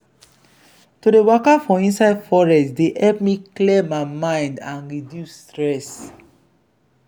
to dey waka for inside forest dey help me clear my mind and reduce stress.